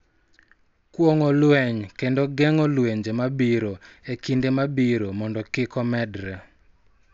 Kuong�o lweny kendo geng�o lwenje mabiro e kinde mabiro mondo kik omedore.